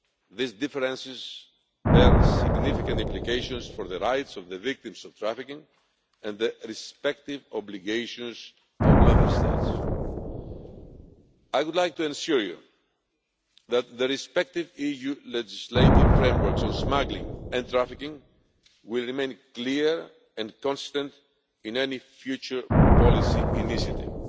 These differences bear significant implications for the rights of the victims of trafficking and the respective obligations of Member States. I would like to assure you that the respective EU legislative frameworks on smuggling and trafficking will remain clear and constant in any future policy initiative.